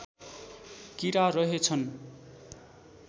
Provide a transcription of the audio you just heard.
किरा रहेछन्